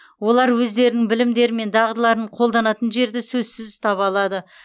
олар өздерінің білімдері мен дағдыларын қолданатын жерді сөзсіз таба алады